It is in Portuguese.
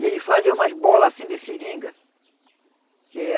E aí fazia umas bolas assim de seringa. Que ah